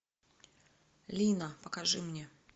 лина покажи мне